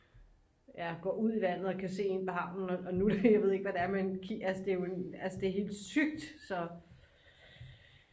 går ud i vandet og kan se ind på havnen og nu jeg ved ikke hvad det er altså det er helt sygt så